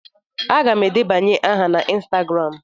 Aga m edebanye aha na ịnstagram.